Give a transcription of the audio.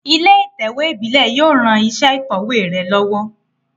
Ilé ìtẹ̀wé ìbílé yio ran isé ìkòwé re lówó